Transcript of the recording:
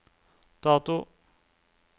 dato